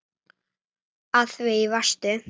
Því það varstu.